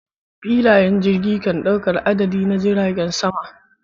Filayen jirage kan dauka adadi na jiragen sama.